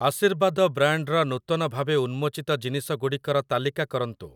ଆଶୀର୍ବାଦ ବ୍ରାଣ୍ଡ୍‌‌‌ର ନୂତନ ଭାବେ ଉନ୍ମୋଚିତ ଜିନିଷ ଗୁଡ଼ିକର ତାଲିକା କରନ୍ତୁ ।